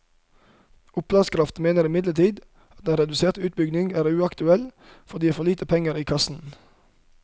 Opplandskraft mener imidlertid at en redusert utbygging er uaktuell, fordi det gir for lite penger i kassen.